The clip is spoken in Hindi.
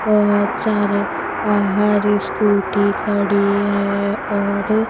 बहोत सारे बाहर स्कूटी खड़ी है और--